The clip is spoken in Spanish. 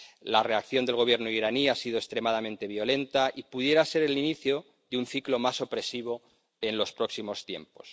La reacción del Gobierno iraní ha sido extremadamente violenta y pudiera ser el inicio de un ciclo más opresivo en los próximos tiempos.